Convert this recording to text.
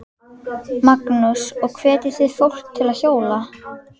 Magnús: Og hvetjið þið fólk til að hjóla?